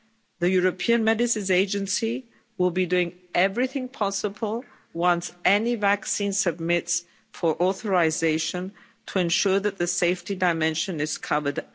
The European Medicines Agency will be doing everything possible once any vaccine submits for authorisation, to ensure that the safety dimension is covered.